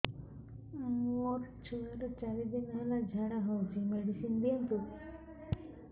ମୋର ଛୁଆର ଚାରି ଦିନ ହେଲା ଝାଡା ହଉଚି ମେଡିସିନ ଦିଅନ୍ତୁ